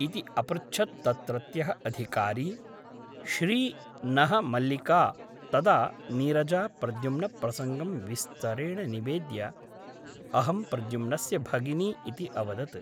इति अपृच्छत् तत्रत्यः अधिकारी । श्री नः मल्लिका तदा नीरजा प्रद्युम्नप्रसङ्गं विस्तरेण निवेद्य अहं प्रद्युम्नस्य भगिनी इति अवदत् ।